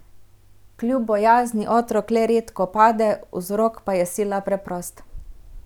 Kljub bojazni otrok le redko pade, vzrok pa je sila preprost.